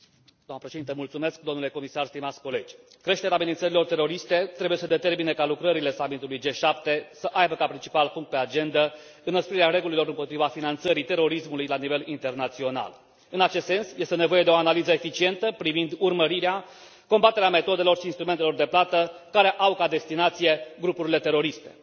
Doamnă președintă, creșterea amenințărilor teroriste trebuie să determine ca lucrările summitului G7 să aibă ca principal punct pe agendă înăsprirea regulilor împotriva finanțării terorismului la nivel internațional. În acest sens, este nevoie de o analiză eficientă privind urmărirea și combaterea metodelor și instrumentelor de plată care au ca destinație grupurile teroriste.